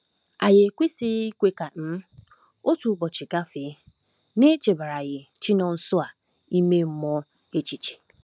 Anyị ekwesịghị ikwe ka um otu ụbọchị gafee n'echebaraghị Chinonsoers ime mmụọ echiche.